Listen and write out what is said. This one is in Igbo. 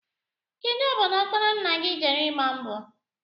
Kedụ obodo ọkpara nna gị jere ịgba mbọ?